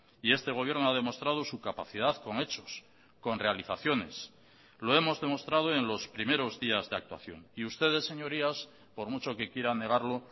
y este gobierno ha demostrado su capacidad con hechos con realizaciones lo hemos demostrado en los primeros días de actuación y ustedes señorías por mucho que quieran negarlo